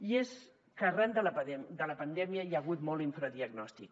i és que arran de la pandèmia hi ha hagut molt infradiagnòstic